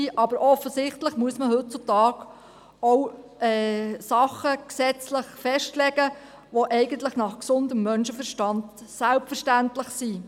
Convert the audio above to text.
Aber offensichtlich muss man heutzutage auch Dinge gesetzlich festlegen, die eigentlich nach gesundem Menschenverstand selbstverständlich sind.